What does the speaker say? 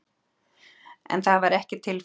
En það var ekki tilfellið